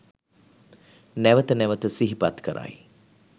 නැවත නැවත සිහිපත් කරයි.